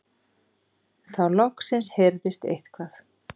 Þá loksins heyrðist eitthvað.